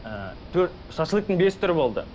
ыыы шашлыктың бес түрі болды